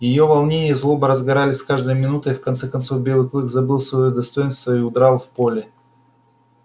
её волнение и злоба разгорались с каждой минутой и в конце концов белый клык забыл своё достоинство и удрал в поле